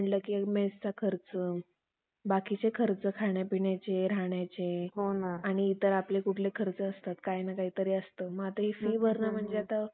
बाकीचे खर्च खाण्यापिण्याचे राहण्याचे आणि इतर आपले कुठले खर्च असतात काही ना काही असतं मग आता हि फी भरणं म्हणजे आता